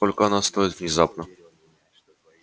сколько она стоит внезапно спросила она и лицо её опять потускнело